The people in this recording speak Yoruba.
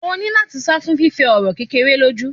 Ó ni lá́ti sá fún fífẹ ọ̀rọ̀ kékeré lójú.